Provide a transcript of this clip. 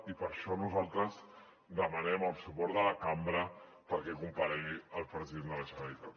i per això nosaltres demanem el suport de la cambra perquè comparegui el president de la generalitat